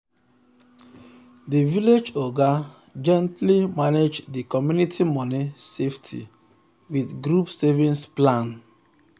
the village oga gently manage the community money safety wit group savings plan.